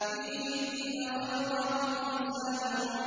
فِيهِنَّ خَيْرَاتٌ حِسَانٌ